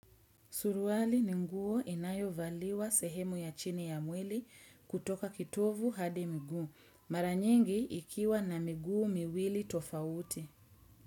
Suruwali ni nguo inayovaliwa sehemu ya chini ya mwili kutoka kitovu hadi miguu. Maranyingi ikiwa na miguu miwili tofauti.